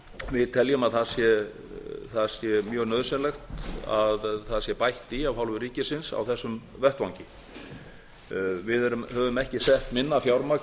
við teljum að það sé mjög nauðsynlegt að það sé bætt í af hálfu ríkisins á þessum vettvangi við höfum ekki sett minna fjármagn